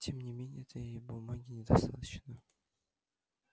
тем не менее этой ей бумаги недостаточно